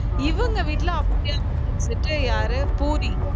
இவங்க வீட்டுல அப்டியே opposite யாரு பூரி